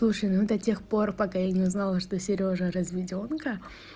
слушаи ну до тех пор пока я не знала что сережа разведёнка